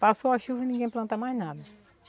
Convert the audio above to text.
Passou a chuva, ninguém planta mais nada.